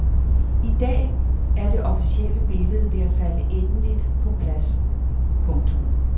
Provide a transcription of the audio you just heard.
I dag er det officielle billede ved at falde endeligt på plads. punktum